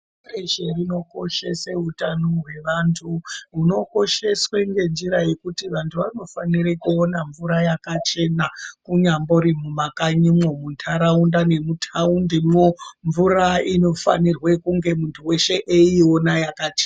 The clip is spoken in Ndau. Dunhu reshe rinokoshese utano hweantu hunokosheswe ngenjira yekuti vantu vanofanire kuona mvura yakachena kunyambori muma kanyimwo, mundarraunda ngemutaundimwo. Mvura inofanirwe kunge muntu veshe eiiona yakachena.